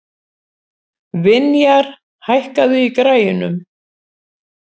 Vinjar, hækkaðu í græjunum.